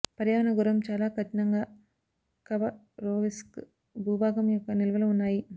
పర్యావరణ గౌరవం చాలా కఠినంగా ఖబరోవ్స్క్ భూభాగం యొక్క నిల్వలు ఉన్నాయి